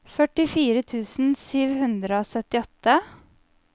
førtifire tusen sju hundre og syttiåtte